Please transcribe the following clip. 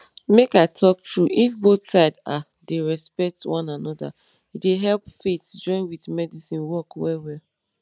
make i talk true if both side ah dem respect one anoda e dey help faith join with medicine work well well.